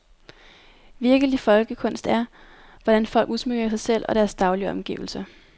Virkelige folkekunst er, hvordan folk udsmykker sig selv og deres daglige omgivelser.